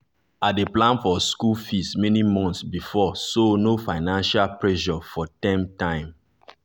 i dey plan for school fees many months before so no financial pressure for term time.